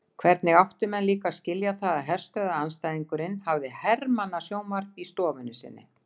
Hvernig áttu menn líka að skilja það að herstöðvaandstæðingurinn hafði hermannasjónvarpið í stofunni sinni?